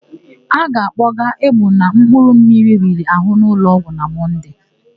A ga-akpọgaa Egbuna mkpụrụmmiri riri àhụ́ n'ụlọọgwụ na Monday.